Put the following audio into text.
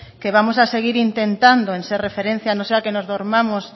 que vamos a seguir intentando en ser referencia no sea que nos durmamos